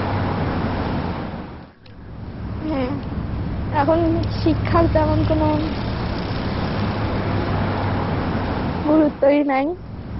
হ্যাঁ. এখন শিক্ষার তেমন কোনো গুরুত্বই নাই.